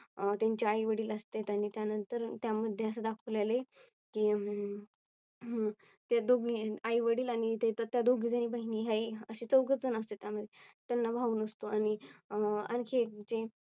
त्यांचे आई वडील असतात आणि त्यानंतर त्यामध्ये असे दाखवलेले की अं हम्म ते दोघेही आई वडील आणि तेथे त्या दोघी बहिणी आहे असे चौघेजण असतात त्यामध्ये त्यांना भाऊ नसतो आणि आणखी जे